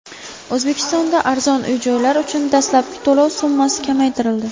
O‘zbekistonda arzon uy-joylar uchun dastlabki to‘lov summasi kamaytirildi.